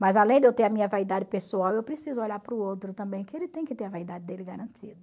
Mas além de eu ter a minha vaidade pessoal, eu preciso olhar para o outro também, que ele tem que ter a vaidade dele garantida.